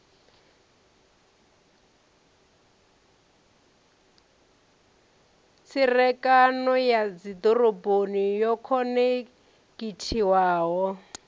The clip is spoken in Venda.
tserekano ya dzidoroboni yo khonekhithiwaho